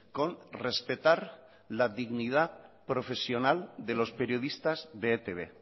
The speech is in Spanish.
con respetar la dignidad profesional de los periodistas de etb